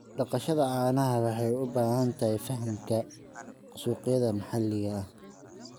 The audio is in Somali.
Dhaqashada caanaha waxay u baahan tahay fahamka suuqyada maxalliga ah.